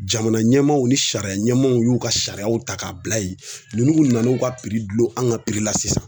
Jamana ɲɛmaaw ni sariya ɲɛmaaw y'u ka sariyaw ta k'a bila yen ninnu mun nana u ka don an ka la sisan